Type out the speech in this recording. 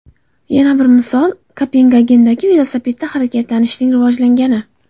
Yana bir misol Kopengagendagi velosipedda harakatlanishning rivojlangani.